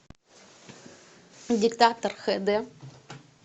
диктатор хд